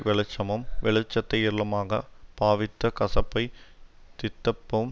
வெளிச்சமும் வெளிச்சத்தை இருளுமாகப் பாவித்து கசப்பைத் தித்தப்பும்